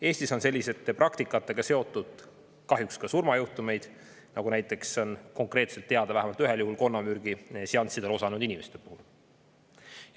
Eestis on selliste praktikatega kahjuks seotud ka surmajuhtumid, näiteks on teada vähemalt üks konnamürgiseanssidel osalenud inimese puhul.